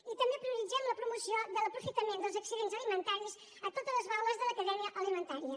i també prioritzem la promoció de l’aprofitament dels excedents alimentaris a totes les baules de la cadena alimentària